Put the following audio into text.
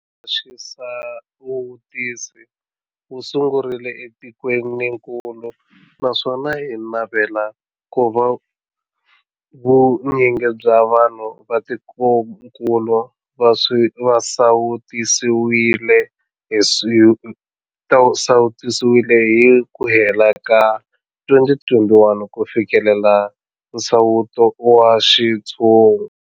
Mphakelo wa xisawutisi wu sungurile etikwenikulu naswona hi navela ku va vu nyingi bya vanhu va tikokulu va sawutisiwile hi ku hela ka 2021 ku fikelela nsawuto wa xintshungu.